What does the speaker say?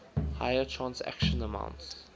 higher transaction amounts